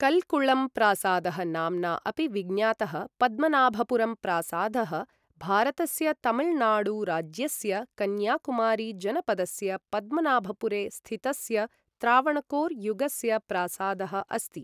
कल्कुळम् प्रासादः नाम्ना अपि विज्ञातः पद्मनाभपुरम् प्रासादः भारतस्य तमिलनाडु राज्यस्य कन्याकुमारी जनपदस्य पद्मनाभपुरे स्थितस्य त्रावणकोर् युगस्य प्रासादः अस्ति।